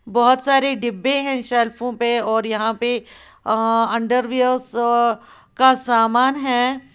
बहोत सारे डिब्बे हैं शेल्फों पे और यहां पे अ अंडरवियर्स का समान है।